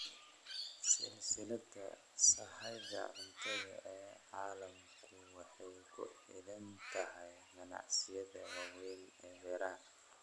Silsilada sahayda cuntada ee caalamku waxay ku xidhan tahay ganacsiyada waaweyn ee beeraha.